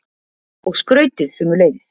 Og skrautið sömuleiðis.